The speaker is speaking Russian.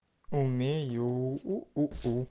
умею у у у